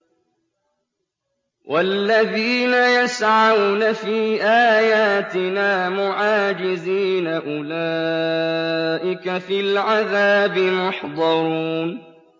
وَالَّذِينَ يَسْعَوْنَ فِي آيَاتِنَا مُعَاجِزِينَ أُولَٰئِكَ فِي الْعَذَابِ مُحْضَرُونَ